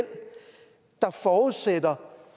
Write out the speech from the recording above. der forudsætter